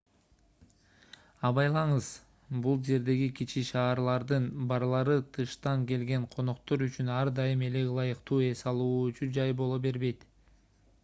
абайлаңыз бул жердеги кичи шаарлардын барлары тыштан келген коноктор үчүн ар дайым эле ылайыктуу эс алуучу жай боло бербейт